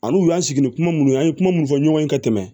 Ani u y'an sigi ni kuma minnu ye an ye kuma minnu fɔ ɲɔgɔn ye ka tɛmɛ